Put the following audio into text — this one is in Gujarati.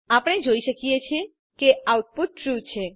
આપણે જોઈ શકીએ છીએ કે આઉટપુટ ટ્રૂ છે